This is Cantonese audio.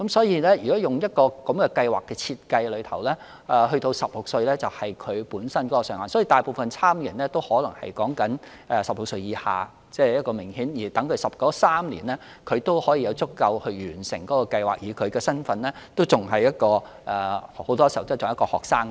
因此，如果按照計劃的設計，年滿16歲便是上限，所以大部分參與者均是16歲以下，讓他們在計劃的3年期內有足夠時間完成計劃，而他們的身份很多時候仍然是學生。